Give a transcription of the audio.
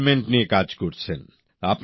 পরিবেশ নিয়ে কাজ করছেন